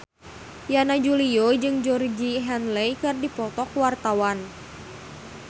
Yana Julio jeung Georgie Henley keur dipoto ku wartawan